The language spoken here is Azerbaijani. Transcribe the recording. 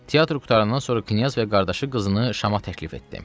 Teatr qurtarandan sonra knyaz və qardaşı qızını Şama təklif etdi.